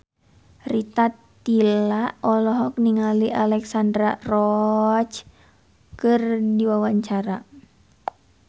Rita Tila olohok ningali Alexandra Roach keur diwawancara